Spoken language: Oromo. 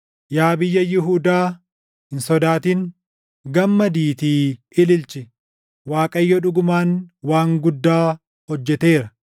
Yaa biyya Yihuudaa, hin sodaatin; gammadiitii ililchi. Waaqayyo dhugumaan waan guddaa hojjeteera!